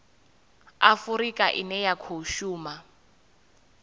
afurika ine ya khou shuma